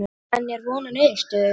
En er von á niðurstöðu?